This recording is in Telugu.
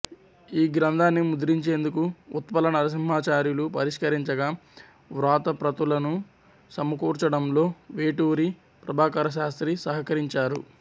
ఈ గ్రంథాన్ని ముద్రించేందుకు ఉత్పల నరసింహాచార్యులు పరిష్కరించగా వ్రాతప్రతులను సమకూర్చడంలో వేటూరి ప్రభాకరశాస్త్రి సహకరించారు